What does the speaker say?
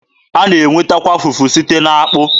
A na-enwetakwa fufu site n'akpụ.